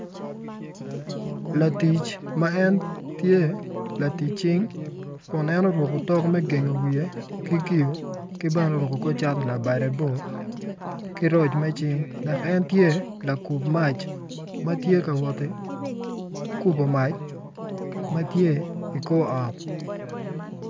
Latic ma en tye latic cing kun en oruko otok me gengo wiye ki kiyo ki bene oruko kor cati labde bor ki roc me cing dok en tye lakub mac ma tye ka waot ki kubo mac ma tye i kor ot.